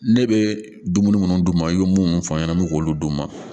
Ne bɛ dumuni minnu d'u ma i bɛ munnu fɔ an ɲɛna an bɛ k'olu d'u ma